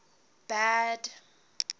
bad